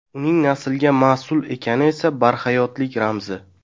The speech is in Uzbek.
Uning naslga mas’ul ekani esa barhayotlik ramzi.